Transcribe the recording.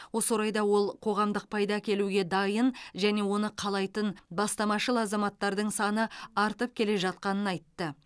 осы орайда ол қоғамдық пайда әкелуге дайын және оны қалайтын бастамашыл азаматтардың саны артып келе жатқанын айтты